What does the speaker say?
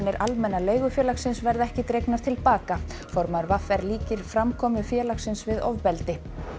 Almenna leigufélagsins verða ekki dregnar til baka formaður v r líkir framkomu félagsins við ofbeldi